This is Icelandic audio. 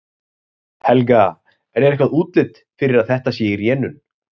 Helga: En er eitthvað útlit fyrir að þetta sé í rénun?